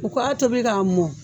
U ka a tobi ka mɔn.